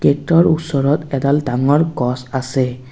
গেটৰ ওচৰত এডাল ডাঙৰ আছে।